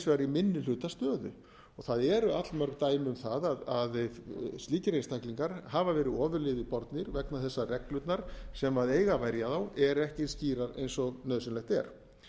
í minni hluta stöðu það eru allmörg dæmi um það að slíkir einstaklingar hafa verið ofurliði bornir vegna þess að reglurnar sem eiga að verja þá eru ekki eins skýrar eins og nauðsynlegt er